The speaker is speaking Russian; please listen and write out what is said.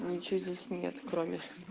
ничего здесь нет кроме